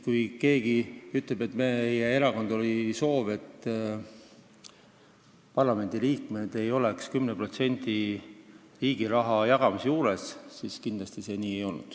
Kui keegi ütleb, et meie erakond soovib, et parlamendiliikmed ei oleks 10% riigi raha jagamise juures, siis kindlasti see nii ei ole.